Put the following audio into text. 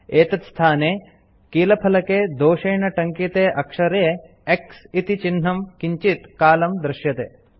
एतत् स्थाने कीलफलके दोषेण टङ्किते अक्षरे X इति चिह्नं किञ्चित् कालं दृश्यते